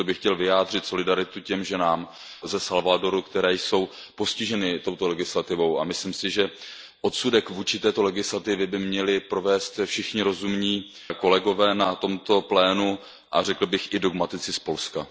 Proto bych chtěl vyjádřit solidaritu těm ženám ze Salvadoru, které jsou postiženy touto legislativou, a myslím si, že odsudek vůči této legislativě by měli provést všichni rozumní kolegové na tomto plénu, a řekl bych, i dogmatici z Polska